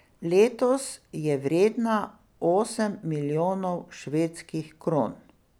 Letos je vredna osem milijonov švedskih kron.